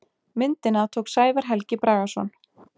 Myndina tók Sævar Helgi Bragason.